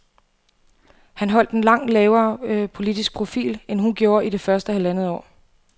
Han holdt en langt lavere politisk profil, end hun gjorde i det første halvandet år.